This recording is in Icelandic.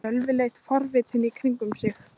Sölvi leit forvitinn í kringum sig.